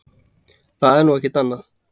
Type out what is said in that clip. Það er nú ekkert annað.